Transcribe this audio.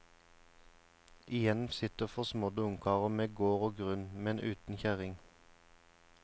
Igjen sitter forsmådde ungkarer med gård og grunn, men uten kjerring.